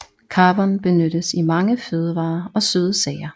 Carvon benyttes i mange fødevarer og søde sager